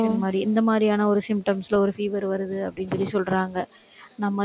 இந்த மாதிரி இந்த மாதிரியான ஒரு symptoms ல, ஒரு fever வருது, அப்படின்னு சொல்லி, சொல்றாங்க. நம்மளே